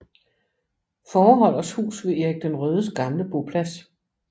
Fåreholders hus ved Erik den Rødes gamle boplads